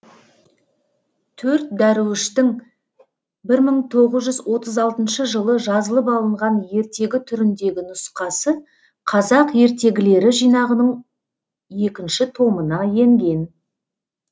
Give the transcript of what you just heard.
төрт дәруіштің бір мың тғыз жүз отыз алтыншы жылы жазылып алынған ертегі түріндегі нұсқасы қазақ ертегілері жинағының екінші томына енген